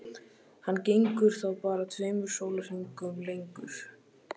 Hann gengur þá bara tveimur sólarhringum lengur.